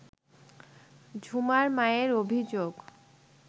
ঝুমার মায়ের অভিযোগ